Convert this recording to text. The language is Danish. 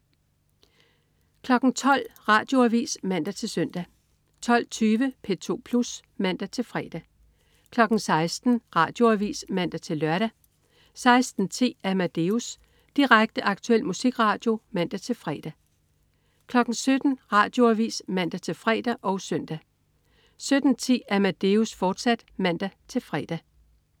12.00 Radioavis (man-søn) 12.20 P2 Plus (man-fre) 16.00 Radioavis (man-lør) 16.10 Amadeus. Direkte, aktuel musikradio (man-fre) 17.00 Radioavis (man-fre og søn) 17.10 Amadeus, fortsat (man-fre)